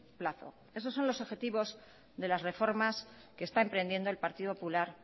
plazo esos son los adjetivos de las reformas que está emprendiendo el partido popular